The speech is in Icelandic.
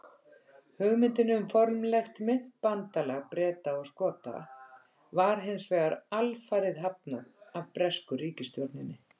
Hugmyndinni um formlegt myntbandalag Breta og Skota var hins vegar alfarið hafnað af bresku ríkisstjórninni.